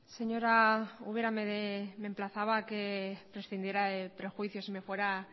señora ubera me emplazaba a que prescindiera de prejuicios y me fuera